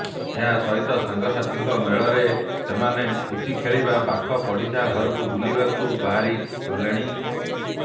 ଏହାସହିତ ସାଙ୍ଗସାଥୀଙ୍କ ମେଳରେ ସେମାନେ ପୁଚି ଖେଳିବା ପାଖ ପଡିଶାଙ୍କ ଘରକୁ ବୁଲିବାକୁ ବାହାରିଗଲେଣି